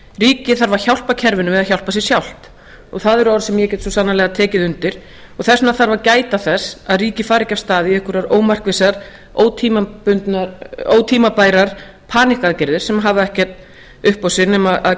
ríkið þarf að hjálpa kerfinu við að hjálpa sér sjálft og það eru orð sem ég get svo sannarlega tekið undir þess vegna þarf að gæta þess að ríkið fari ekki af stað í einhverjar ómarkvissar ótímabærar paník aðgerðir sem hafa ekkert upp á sig nema að kæfa